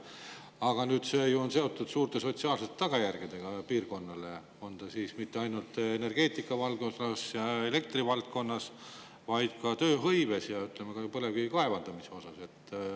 Aga see on seotud ju suurte sotsiaalsete tagajärgedega piirkonnale, mitte ainult energeetikavaldkonnas ja elektrivaldkonnas, vaid ka tööhõives ja põlevkivi kaevandamisel.